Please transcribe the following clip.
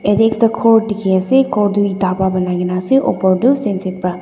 ete ekta ghor dikhi ase ghor tu yita pa banai kene ase oper tu pa.